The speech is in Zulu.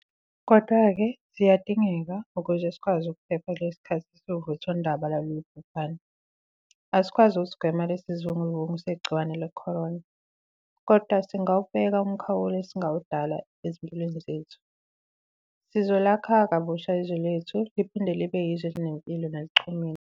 Kodwa-ke, ziyadingeka, ukuze sikwazi ukuphepha kulesi sikhathi esiwuvuthondaba lwalolu bhubhane. Asikwazi ukusigwema lesi sivunguvungu segciwane le-corona. Kodwa singawubeka umkhawulo esingawudala ezimpilweni zethu. Sizolakha kabusha izwe lethu liphinde libe yizwe elinempilo nelichumile.